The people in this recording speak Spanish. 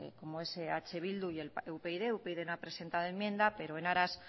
como es eh bildu y upyd upyd no ha presentado enmienda pero en aras